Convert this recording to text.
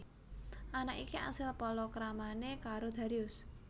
Anak iki asil palakramané karo Darius